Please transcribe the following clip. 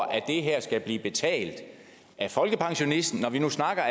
at det her skal blive betalt af folkepensionisten når vi nu snakker